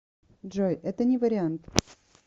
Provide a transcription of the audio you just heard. джой это не вариант